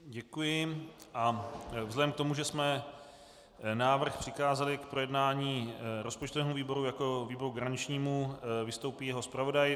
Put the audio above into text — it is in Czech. Děkuji a vzhledem k tomu, že jsme návrh přikázali k projednání rozpočtovému výboru jako výboru garančnímu, vystoupí jeho zpravodaj.